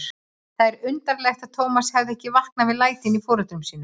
Það er undarlegt að Tómas hefur ekki vaknað við lætin í foreldrum sínum.